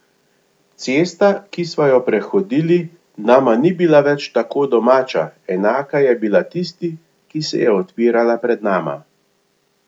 Cesta, ki sva jo prehodili, nama ni bila več tako domača, enaka je bila tisti, ki se je odpirala pred nama.